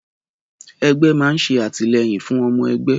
Ẹgbẹ́ ma nṣe àtìlẹ́yìn fún ọmọ ẹgbẹ́